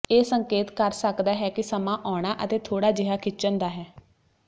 ਇਹ ਸੰਕੇਤ ਕਰ ਸਕਦਾ ਹੈ ਕਿ ਸਮਾਂ ਆਉਣਾ ਅਤੇ ਥੋੜਾ ਜਿਹਾ ਖਿੱਚਣ ਦਾ ਹੈ